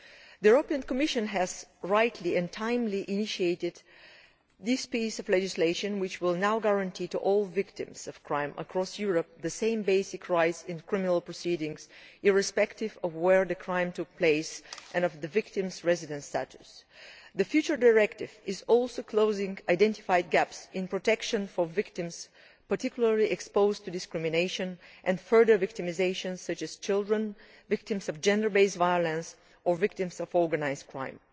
The Commission has rightly initiated this timely piece of legislation which will now guarantee to all victims of crime across Europe the same basic rights in criminal proceedings irrespective of where the crime took place and of the victim's residence status. The future directive is also closing identified gaps in protection for victims, particularly those exposed to discrimination and victimisation such as children, victims of gender based violence or victims of organised crime.